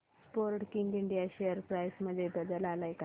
Sportking India share price मध्ये बदल आलाय का